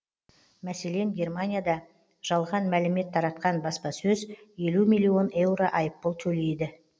мәселен германияда жалған мәлімет таратқан баспасөз елу миллион еуро айппұл төлейді